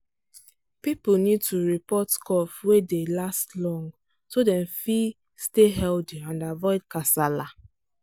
people need to report cough wey dey last long so dem fit stay healthy and avoid kasala.